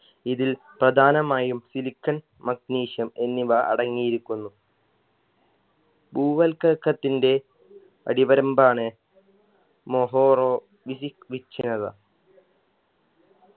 ഇതിൽ പ്രധാനമായും silicon magnesium എന്നിവ അടങ്ങിയിരിക്കുന്നു ഭൂവൽക്കക്കത്തിന്റെ അടിവരമ്പാണ് മൊഹോറോ